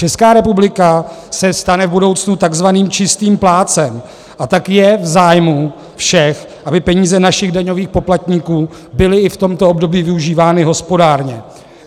Česká republika se stane v budoucnu takzvaným čistým plátcem, a tak je v zájmu všech, aby peníze našich daňových poplatníků byly i v tomto období využívány hospodárně.